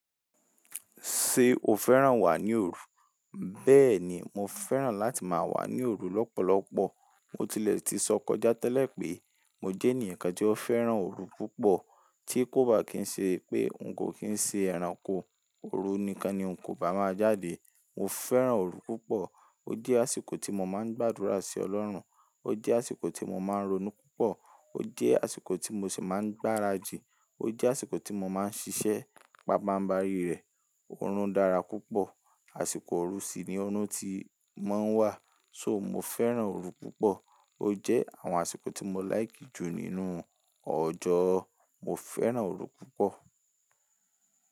Ṣé o fẹ́ràn wà ní òru? Bẹ́ẹ̀ni, mo fẹ́ràn láti máa wà ní òru lọ́pọ̀lọpọ̀. Mo tilẹ̀ ti sọ kọjá tẹ́lẹ̀ pé mo jẹ́ ènìyàn kan tí ó fẹ́ràn òru púpọ̀. Tí kò bá kí ń ṣe pé n kò kí ń ṣe ẹranko, òru nìkan ni n kò bá máa jáde. Mo fẹ́ràn òru púpọ̀. Ó jẹ́ àsìkò tí mo máa ń gbàdúrà sí Ọlọ́run, ó jẹ́ àsìkò tí mo máa ń ronú púpọ̀, ó jẹ́ àsìkò tí mo sì máa ń gbáradì, ó jẹ́ àsìkò tí mo máa ń ṣiṣẹ́ pápá ń bá rí rẹ̀. Òru ń dára púpọ̀. Àsìkò òru sì ni ọrún ti máa ń wà. So mo fẹ́ràn òru púpọ̀. Ó jẹ́ àwọn àsìkò tí mo láìkì jù nínú ọjọ́. Mo fẹ́ràn òru púpọ̀